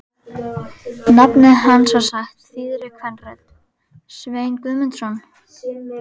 Nafnið hans var sagt þýðri kvenrödd: Sveinn Guðmundsson?